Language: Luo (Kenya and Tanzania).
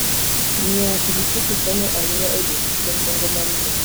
Ng'iewo pikipiki konyo ahinya e dwoko chien nengo mar wuoth.